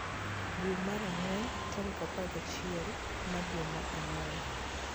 Dwe mar ang'wen tarik apar gachiel mar dwe mar ang'wen